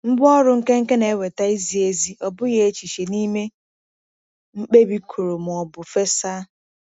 Ngwá ọrụ nkenke na-eweta izi ezi, ọ bụghị echiche, n’ime mkpebi kụrụ ma ọ bụ fesa.